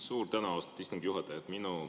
Suur tänu, austatud istungi juhataja!